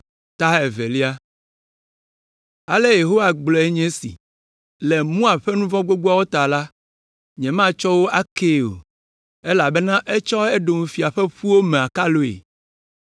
Ale Yehowa gblɔe nye esi: “Le Moab ƒe nu vɔ̃ gbogboawo ta la, nyematsɔ wo akee o, elabena etsɔ Edom fia ƒe ƒuwo me akaloe.